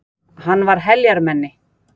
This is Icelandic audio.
Hann var heljarmenni.